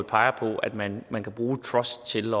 peger på at man man kan bruge truster til